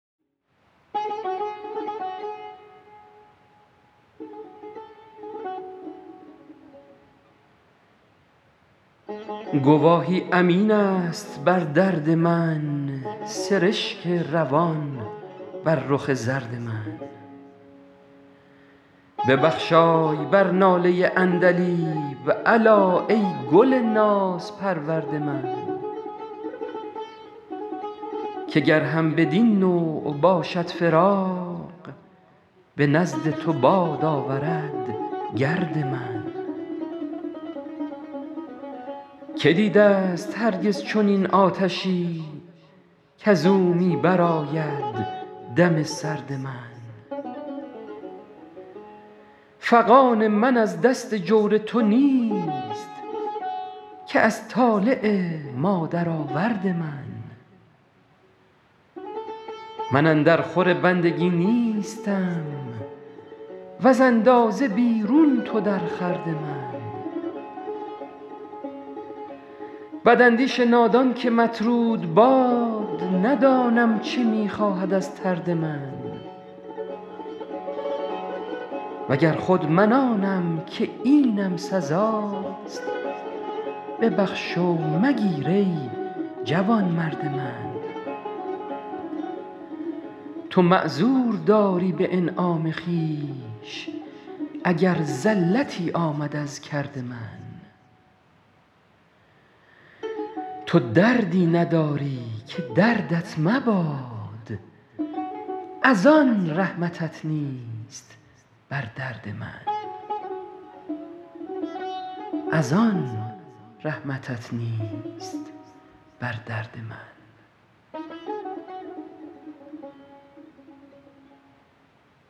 گواهی امین است بر درد من سرشک روان بر رخ زرد من ببخشای بر ناله عندلیب الا ای گل نازپرورد من که گر هم بدین نوع باشد فراق به نزد تو باد آورد گرد من که دیده ست هرگز چنین آتشی کز او می برآید دم سرد من فغان من از دست جور تو نیست که از طالع مادرآورد من من اندر خور بندگی نیستم وز اندازه بیرون تو در خورد من بداندیش نادان که مطرود باد ندانم چه می خواهد از طرد من و گر خود من آنم که اینم سزاست ببخش و مگیر ای جوانمرد من تو معذور داری به انعام خویش اگر زلتی آمد از کرد من تو دردی نداری که دردت مباد از آن رحمتت نیست بر درد من